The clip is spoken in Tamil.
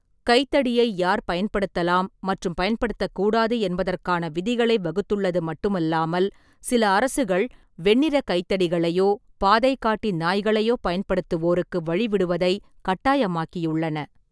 கைத்தடியை யார் பயன்படுத்தலாம் மற்றும் பயன்படுத்தக்கூடாது என்பதற்கான விதிகளை வகுத்துள்ளது மட்டுமல்லாமல், சில அரசுகள் வெண்ணிறக் கைத்தடிகளையோ பாதைகாட்டி நாய்களையோ பயன்படுத்துவோருக்கு வழிவிடுவதை கட்டாயமாக்கியுள்ளன.